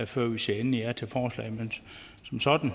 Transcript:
før vi siger endeligt ja til forslaget men som sådan